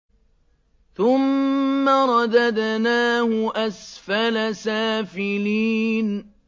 ثُمَّ رَدَدْنَاهُ أَسْفَلَ سَافِلِينَ